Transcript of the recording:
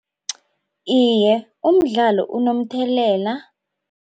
Iye, umdlalo unomthelela.